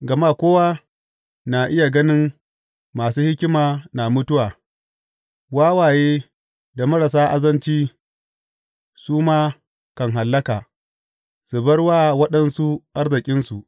Gama kowa na iya ganin masu hikima na mutuwa; wawaye da marasa azanci su ma kan hallaka su bar wa waɗansu arzikinsu.